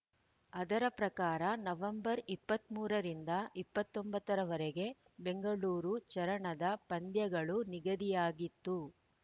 ಅದರ ಪ್ರಕಾರ ನವೆಂಬರ್ ಇಪ್ಪತ್ತ್ ಮೂರು ರಿಂದ ಇಪ್ಪತ್ತ್ ಒಂಬತ್ತ ರವರೆಗೆ ಬೆಂಗಳೂರು ಚರಣದ ಪಂದ್ಯಗಳು ನಿಗದಿಯಾಗಿತ್ತು